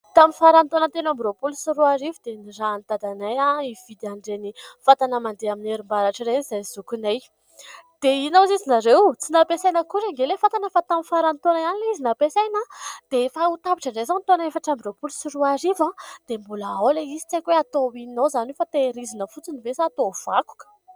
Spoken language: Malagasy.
Tamin'ny faran'ny taona telo amby roapolo sy roa arivo dia nirahan'i dadanay hividy an'ireny fatana mandeha amin'ny herim-baratra ireny izahay sy zokinay. Dia inona hoy ianareo ? Tsy nampiasaina akory anie ilay fatana fa tamin'ny faran'ny taona ihany ilay izy no nampiasaina. Dia efa ho tapitra indray izao ny taona efatra amby roapolo sy roa arivo dia mbola ao ilay izy. Tsy aiko hoe atao inona ao izany io fa tehirizina fotsiny ve sa atao vakoka.